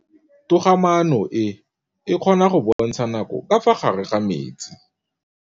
Toga-maanô e, e kgona go bontsha nakô ka fa gare ga metsi.